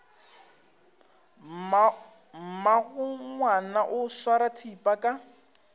mmagongwana o swara thipa ka